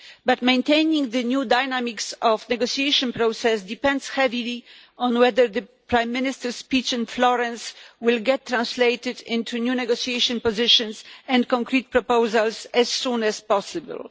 But maintaining the new dynamics of the negotiation process depends heavily on whether the UK Prime Minister's speech in Florence will be translated into new negotiation positions and concrete proposals as soon as possible.